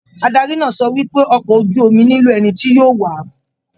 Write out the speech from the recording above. Adarí náà sọ wípé ọkọ ojú omi nilo ẹni tí yóò wáá.